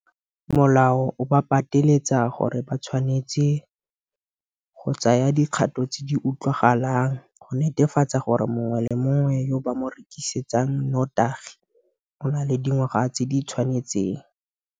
Ditheo tsa thuto di tsaya maina a badiradikopo mo sefalanatshedimosong sa CACH mme morago se ikgolaganye le bona, ga rialo sebueledi sa DHET Ishmael Mnisi.